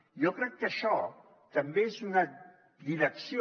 jo crec que això també és una direcció